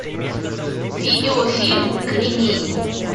видеофильм кремень